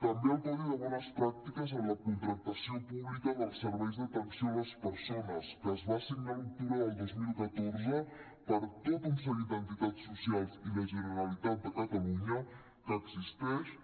també el codi de bones pràctiques en la contractació pública dels serveis d’atenció a les persones que es va signar a l’octubre del dos mil catorze per tot un seguit d’entitats socials i la generalitat de catalunya que existeix